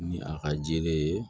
Ni a ka jeli ye